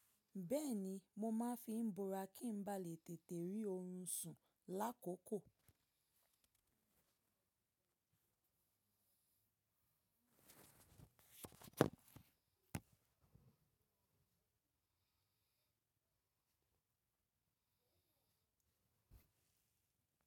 Bẹ́ẹ̀ni, mo máa fi bora kí n ba lè tètè rí orun sùn lákòókò.